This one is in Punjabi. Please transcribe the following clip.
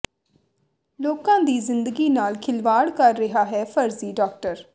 ਲੋਕਾਂ ਦੀ ਜ਼ਿੰਦਗੀ ਨਾਲ ਖਿਲਵਾੜ ਕਰ ਰਿਹਾ ਹੈ ਫਰਜ਼ੀ ਡਾਕਟਰ